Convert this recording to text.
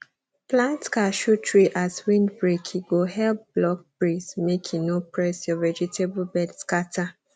plant cashew tree as windbreake go help block breeze make e no press your vegetable bed scatter